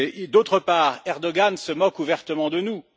D'autre part, Erdogan se moque ouvertement de nous.